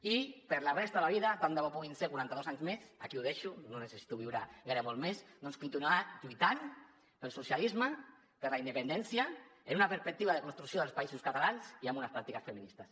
i per a la resta de la vida tant de bo puguin ser quaranta dos anys més aquí ho deixo no necessito viure molt més doncs continuar lluitant pel socialisme per la independència des d’una perspectiva de construcció dels països catalans i amb unes pràctiques feministes